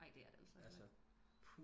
Nej det er det altså ikke